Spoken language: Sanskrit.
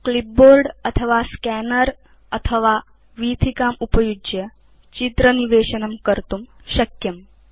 क्लिपबोर्ड अथवा स्कैनर उपयुज्य अथवा वीथिकात् इति चित्र निवेशनस्य अन्या पद्धतय सन्ति